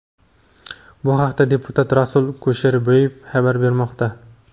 Bu haqda deputat Rasul Kusherboyev xabar bermoqda.